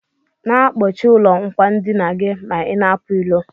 Na akpọchi ụlọ akwandinagi ma ina apụ ilo.